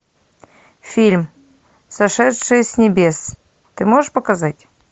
фильм сошедшие с небес ты можешь показать